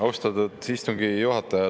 Austatud istungi juhataja!